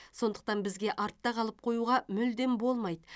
сондықтан бізге артта қалып қоюға мүлдем болмайды